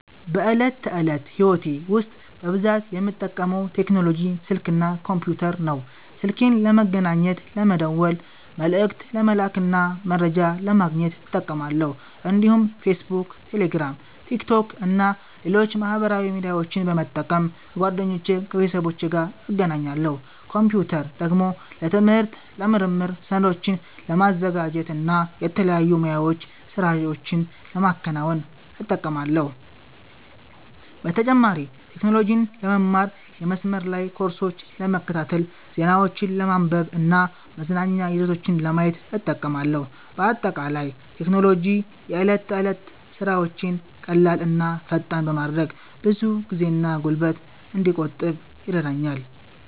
በዕለት ተዕለት ሕይወቴ ውስጥ በብዛት የምጠቀመው ቴክኖሎጂ ስልክ እና ኮምፒተር ነው። ስልኬን ለመገናኘት፣ ለመደወል፣ መልዕክት ለመላክ እና መረጃ ለማግኘት እጠቀማለሁ። እንዲሁም ፌስቡክ፣ ቴሌግራም፣ ቲክቶክ እና ሌሎች ማህበራዊ ሚዲያዎችን በመጠቀም ከጓደኞቼና ከቤተሰቦቼ ጋር እገናኛለሁ። ኮምፒተርን ደግሞ ለትምህርት፣ ለምርምር፣ ሰነዶችን ለማዘጋጀት እና የተለያዩ ሙያዊ ሥራዎችን ለማከናወን እጠቀማለሁ። በተጨማሪም ቴክኖሎጂን ለመማር፣ የመስመር ላይ ኮርሶችን ለመከታተል፣ ዜናዎችን ለማንበብ እና መዝናኛ ይዘቶችን ለማየት እጠቀማለሁ። በአጠቃላይ ቴክኖሎጂ የዕለት ተዕለት ሥራዎቼን ቀላል እና ፈጣን በማድረግ ብዙ ጊዜና ጉልበት እንድቆጥብ ይረዳኛል።